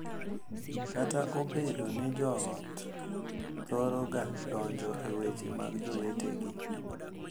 Kata obedo ni jo ot thoro ga donjo e weche mag jowetegi